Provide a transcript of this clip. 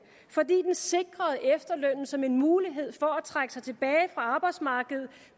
fordi den sikrede efterlønnen som en mulighed for at trække sig tilbage fra arbejdsmarkedet